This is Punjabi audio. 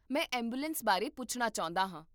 ਮੈਂ ਐਂਬੂਲੈਂਸ ਬਾਰੇ ਪੁੱਛਣਾ ਚਾਹੁੰਦਾ ਹਾਂ